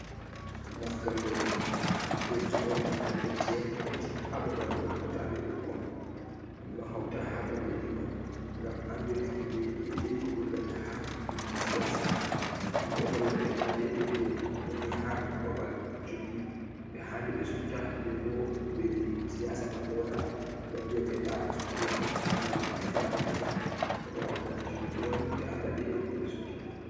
moftolle 42 hauti ha babal do hautande bukkon dum do hauta ha babbeji man gam andira himbe dedai ko doggata ha fiji siyasa dum do holla be nda dedai be woni ha babal cubi be handi be subta be bo himbeji siyasa man do wara hebal viya be nda subte am mi wanna mun kaza e kaza heba wakkati cubi to wari be anda dedai ko be subtata